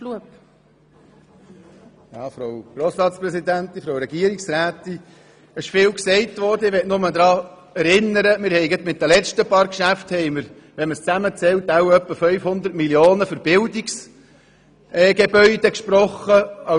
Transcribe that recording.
Ich möchte noch daran erinnern, dass wir mit den letzten Geschäften zusammengezählt etwa 500 Mio. Franken für Investitionen in Unterrichtsgebäude gesprochen haben.